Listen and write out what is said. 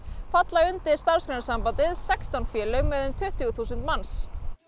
falla undir Starfsgreinasambandið sextán félög með um tuttugu þúsund manns